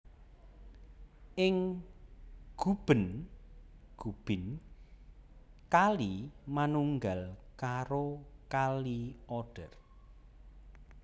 Ing Guben/Gubin kali manunggal karo Kali Oder